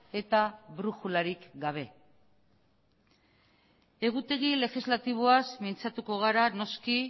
eta brujularik gabe egutegi legislatiboaz mintzatuko gara noski